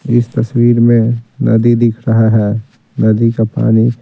इस तस्वीर में नदी दिख रहा है नदी का पानी--